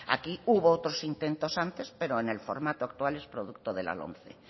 aquí hubo otros intentos antes pero en el formato actual es producto de la lomce